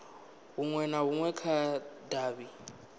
hunwe na hunwe kha davhi